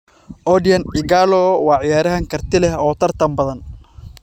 Odion Ighalo waa ciyaaryahan karti leh oo tartan badan.